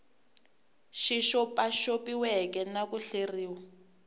xi xopaxopiweke na ku hleriw